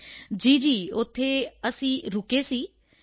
ਜੀ ਜੀ ਉੱਥੇ ਅਸੀਂ ਰੁਕੇ ਸੀ ਐੱਨ